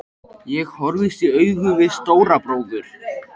Ég horfðist í augu við Stóra bróður.